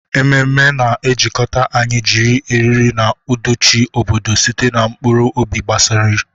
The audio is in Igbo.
Ememe na-ejikọta anyị, jiri eriri na aduchi obodo site na mkpụrụ obi gbasasịrị.